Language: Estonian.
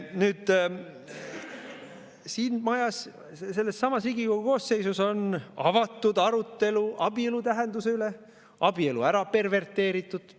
Nüüd, siin majas sellessamas Riigikogu koosseisus on avatud arutelu abielu tähenduse üle, abielu on ära perverteeritud.